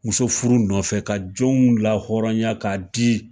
Muso furu nɔfɛ ka jɔnw la hɔrɔnya k'a di